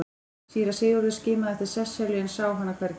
Síra Sigurður skimaði eftir Sesselju en sá hana hvergi.